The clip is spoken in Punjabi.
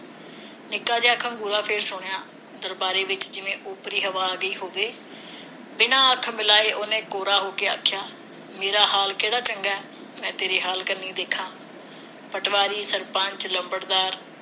ਨਿੱਕਾ ਜਿਹਾ ਖੰਗੂਰਾ ਫਿਰ ਸੁਣਿਆ ਦਰਬਾਰਾ ਦੇ ਵਿਚ ਜਿਵੇ ਉਪਰੀ ਹਵਾ ਗਈ ਹੋਵੇ ਬਿਨਾਂ ਹੱਥ ਮਿਲਾਏ ਉਸ ਨੇ ਕੌੜਾ ਹੋ ਕੇ ਆਖਿਆ ਮੇਰਾ ਹਾਲ ਕਿਹੜਾ ਚੰਗਾ ਮੈਂ ਤੇਰੇ ਹਾਲ ਕੰਨੀ ਦੇਖਾ ਪਟਵਾਰੀ ਸਰਪੰਚ ਲੰਬੜਦਾਰ